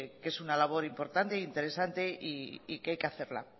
que es una labor importante e interesante y que hay que hacerla